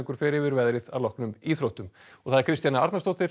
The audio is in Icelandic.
fer yfir veðrið að loknum íþróttum Kristjana Arnarsdóttir